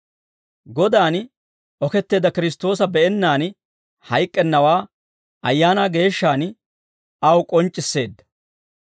Godan oketteedda Kiristtoosa be'ennaan hayk'k'ennawaa Ayaanaa Geeshshaan aw k'onc'c'isseedda.